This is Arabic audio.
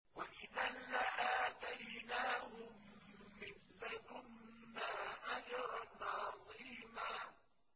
وَإِذًا لَّآتَيْنَاهُم مِّن لَّدُنَّا أَجْرًا عَظِيمًا